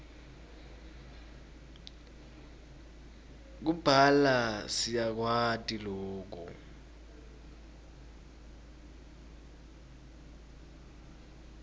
kubhala siyakwati loku